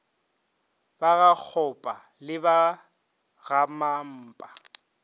ba gakgopa le ba gamampa